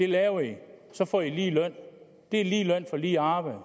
laver i og så får i lige løn det er lige løn for lige arbejde